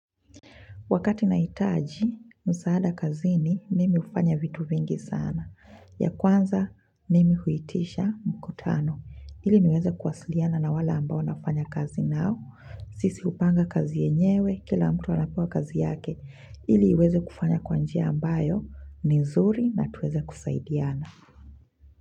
Wakati nahitaji, msaada kazini, mimi hufanya vitu vingi sana. Ya kwanza, mimi huitisha mkutano. Ili niweze kuwasiliana na wale ambao nafanya kazi nao. Sisi hupanga kazi yenyewe, kila mtu anapewa kazi yake. Ili iweze kufanya kwanjia ambayo, nizuri na tuweze kusaidiana.